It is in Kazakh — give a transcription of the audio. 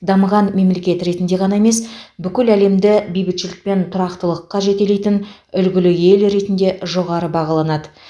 дамыған мемлекет ретінде ғана емес бүкіл әлемді бейбітшілік пен тұрақтылыққа жетелейтін үлгілі ел ретінде жоғары бағаланады